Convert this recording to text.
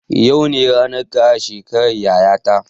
Yau ne ranan kara shekaran yaya ta